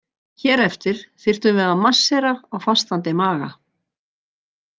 Hér eftir þyrftum við að marséra á fastandi maga.